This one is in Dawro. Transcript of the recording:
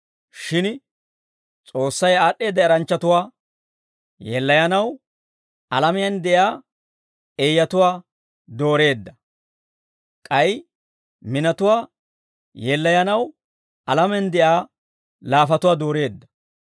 Shin S'oossay aad'd'eedda eranchchatuwaa yeellayanaw, alamiyaan de'iyaa eeyatuwaa dooreedda; k'ay minatuwaa yeellayanaw, alamiyaan de'iyaa laafatuwaa dooreedda.